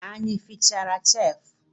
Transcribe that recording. Anyị efichara cheefu?